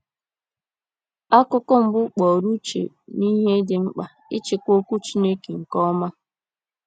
Akụkụ mbụ kpọrọ uche n’ihe dị mkpa ịchịkwa Okwu Chineke nke ọma.